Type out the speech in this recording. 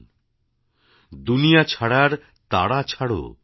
· দুনিয়া ছাড়ার তাড়া ছাড়ো